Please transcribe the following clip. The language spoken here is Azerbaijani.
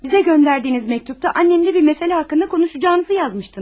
Bizə göndərdiyiniz məktubda annəmlə bir məsələ haqqında konuşacağınızı yazmışdınız.